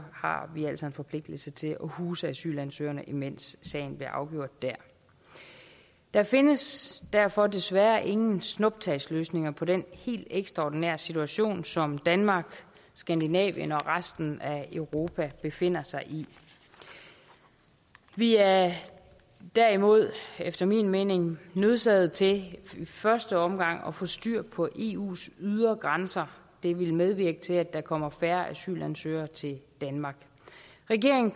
har vi altså en forpligtelse til at huse asylansøgerne mens sagen bliver afgjort dér der findes derfor desværre ingen snuptagsløsninger på den helt ekstraordinære situation som danmark skandinavien og resten af europa befinder sig i vi er derimod efter min mening nødsaget til i første omgang at få styr på eus ydre grænser det vil medvirke til at der kommer færre asylansøgere til danmark regeringen